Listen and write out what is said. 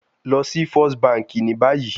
Lọ si first banki ni bayi